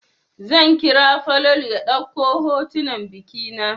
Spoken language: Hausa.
Zan kira Falalu ya ɗauka hotunan biki na.